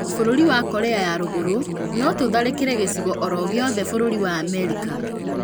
Bũrũri wa Korea ya rũrũgũrũ: notũtharĩkĩre gĩcigo oro gĩothe bũrũri wa Amerika